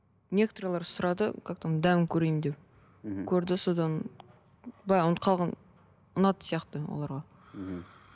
некоторыйлар сұрады как там дәмін көрейін деп мхм көрді содан былай ұнатып қалған ұнады сияқты оларға